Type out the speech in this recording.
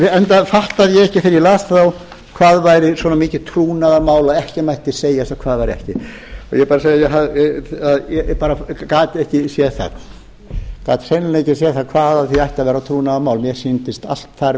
áttaði ég ekki þegar ég las þá hvað væri svona mikið trúnaðarmál og ekki mætti segja ég hvað væri það ekki ég vil bara segja að ég gat ekki séð það gat hreinlega ekki séð það hvað af því ætti að